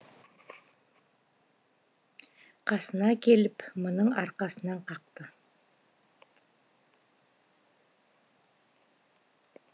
қасына келіп мұның арқасынан қақты